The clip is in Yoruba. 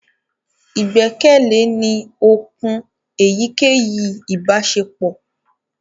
igbẹkẹle ní òkun èyíkéyìí ibaṣepọ